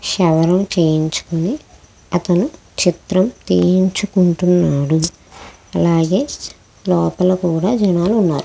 క్షవరం చేయించుకుని అతను చిత్రం తీయించుకుంటున్నాడు. అలాగే లోపల కూడా జనాలు ఉన్నారు.